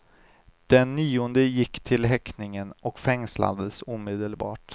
Den nionde gick till häktningen och fängslades omedelbart.